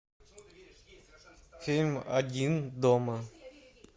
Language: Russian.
фильм один дома